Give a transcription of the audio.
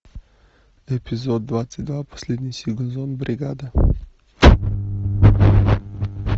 эпизод двадцать два последний сезон бригада